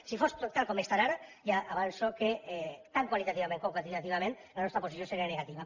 si fos tot tal com està ara ja avanço que tan qualitativament com quantitativament la nostra posició seria negativa